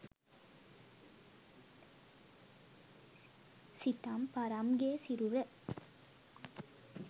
සිතම්පරම්ගේ සිරුර